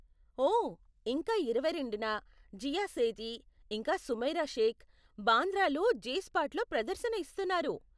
ఓ, ఇంకా ఇరవై రెండున, జీయా సేథీ, ఇంకా సుమైరా షేక్, బాంద్రాలో జే స్పాట్లో ప్రదర్శన ఇస్తున్నారు.